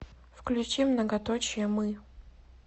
включи многоточие мы